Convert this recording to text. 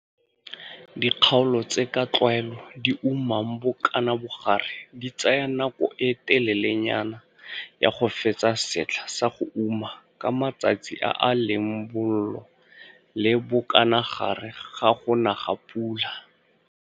Dikgaolo tse ka tlwaelo di umang bokanabogare di tsaya nako e telelenyana ya go fetsa setlha sa go uma ka matsatsi a a leng bollo le bokanagare ga go na ga pula.